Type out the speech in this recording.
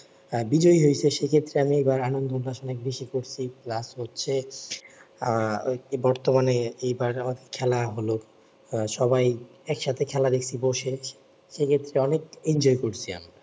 আহ বিজয়ী হয়ছে সে ক্ষেত্রে আমি এবার আনন্দ উল্লাস অনেক বেশি করছি plus হচ্ছে আহ বর্তমানে এবার খেলা হলো আহ সবাই এক সাথে খেলা দেখছি বসে সে ক্ষেত্রে অনেক enjoy করছি